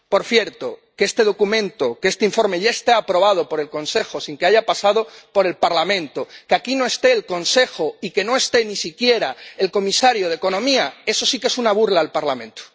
Por cierto, que este documento, que este informe, ya esté aprobado por el Consejo, sin que haya pasado por el Parlamento, que aquí no esté el Consejo y que no esté ni siquiera el comisario de Economía, eso sí que es una burla al Parlamento.